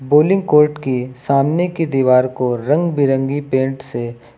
bowling court के सामने की दीवार को रंग बिरंगी पेंट से--